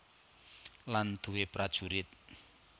Lan duwé prajurit